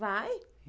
Vai!